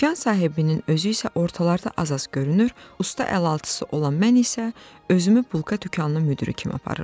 Dükan sahibinin özü isə ortalarda az-az görünür, usta əlaltısı olan mən isə özümü bulka dükanının müdiri kimi aparırdım.